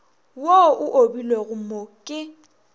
wo o obilwego mo ke